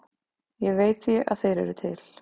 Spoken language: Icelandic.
Ég veit því að þeir eru til.